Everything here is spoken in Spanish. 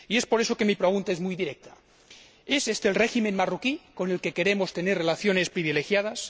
Por eso, mi pregunta es muy directa, ¿es éste el régimen marroquí con el que queremos tener relaciones privilegiadas?